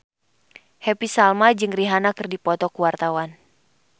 Happy Salma jeung Rihanna keur dipoto ku wartawan